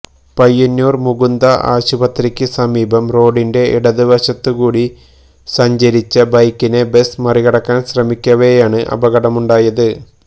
പയ്യന്നൂർ മുകുന്ദ ആശുപത്രിക്ക് സമീപം റോഡിന്റെ ഇടത് വശത്തുകൂടി സഞ്ചരിച്ച ബൈക്കിനെ ബസ് മറികടക്കാൻ ശ്രമിക്കവെയാണ് അപകടമുണ്ടായത്